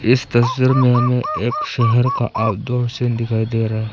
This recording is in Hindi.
इस तस्वीर मे हमें एक शहर का आउट डोर सीन दिखाई दे रहा है।